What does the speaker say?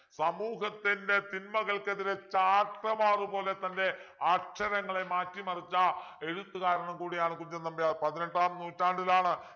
സമൂഹത്തിൻ്റെ തിന്മകൾക്കെതിരെ ചാട്ടവാറുപോലെ തൻ്റെ അക്ഷരങ്ങളെ മാറ്റി മറിച്ച എഴുത്തുകാരനും കൂടിയാണ് കുഞ്ചൻ നമ്പ്യാർ പതിനെട്ടാം നൂറ്റാണ്ടിലാണ്